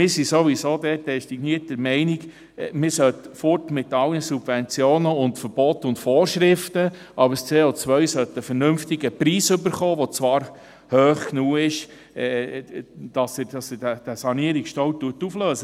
Wir sind sowieso dort dezidiert der Meinung, man sollte wegkommen von allen Subventionen, Verboten und Vorschriften, aber das CO sollte einen vernünftigen Preis erhalten, der zwar hoch genug ist, um diesen Sanierungsstau aufzulösen.